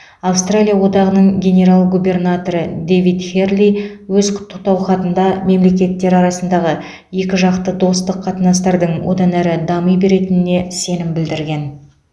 австралия одағының генерал губернаторы дэвид херли өз құттықтау хатында мемлекеттер арасындағы екіжақты достық қатынастардың одан әрі дами беретініне сенім білдірген